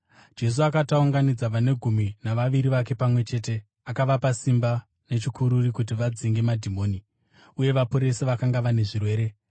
Jesu akati aunganidza vane Gumi naVaviri vake pamwe chete, akavapa simba nechikuriri kuti vadzinge madhimoni uye vaporese vakanga vane zvirwere,